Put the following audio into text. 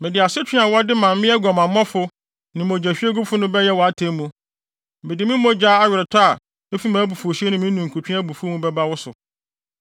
Mede asotwe a wɔde ma mmea aguamammɔfo ne mogyahwiegufo no bɛyɛ wʼatemmu. Mede me mogya aweretɔ a efi mʼabufuwhyew ne me ninkutwe abufuw mu bɛba wo so.